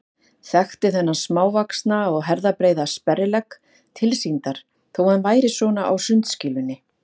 Þekkti þennan smávaxna og herðabreiða sperrilegg tilsýndar þó að hann væri svona á sundskýlunni.